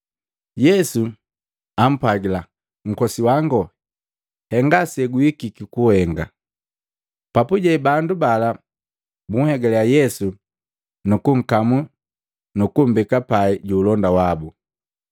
Yesu jaapwajila, “Nkose, henga seguhikiki kuhenga.” Papuje bandu bala bunhegaliya Yesu nukunkamu nukumbeka pai juulonda wabu.